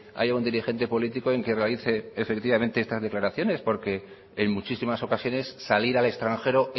haya un dirigente político en que realice efectivamente estas declaraciones porque en muchísimas ocasiones salir al extranjero